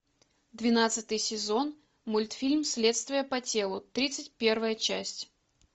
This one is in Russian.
двенадцатый сезон мультфильм следствие по телу тридцать первая часть